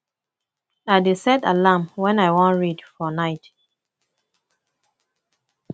i dey set alarm wen i wan read for night